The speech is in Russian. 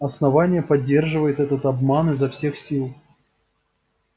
основание поддерживает этот обман изо всех сил